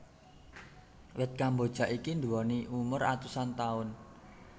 Wit kemboja iki nduwèni umur atusan taun